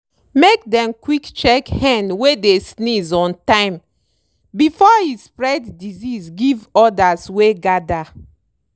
make dem quick check hen wey dey sneeze on time before e spread disease give odas wey gather.